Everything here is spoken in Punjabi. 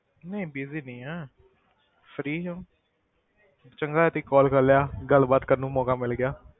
ਨਹੀਂ busy ਨਹੀਂ ਹਾਂ free ਸੀ ਚੰਗਾ ਤੁਸੀ call ਕਰ ਲਿਆ ਗੱਲਬਾਤ ਕਰਨ ਨੂੰ ਮੌਕਾ ਮਿਲ ਗਿਆ।